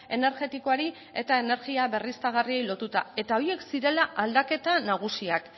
energetikoari eta energia berriztagarriei lotuta eta horiek zirela aldaketa nagusiak